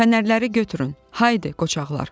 Fənərləri götürün, haydı qoçaqlar!